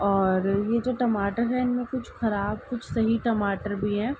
और ये जो टमाटर है इनमे कुछ खराब कुछ सही टमाटर भी हैं।